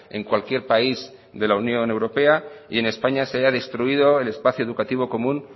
en cualquier país de la unión europea y en españa se haya destruido el espacio educativo común